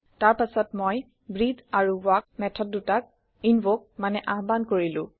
তাৰ পাছত মই ব্ৰেটহে আৰু ৱাল্ক মেথড দুটাক ইনভকে মানে আহ্বান কৰিলো